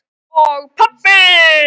Og pabbi!